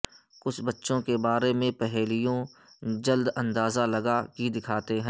کچھی بچوں کے بارے میں پہیلیوں جلد اندازہ لگا کہ دکھاتے ہیں